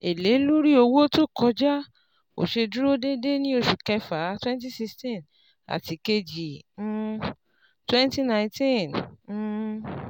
Èlé lórí owó tó kọjà kò ṣé dúró dédé ní oṣù kẹfà cs] twenty sixteen àti kejì um twenty nineteen. um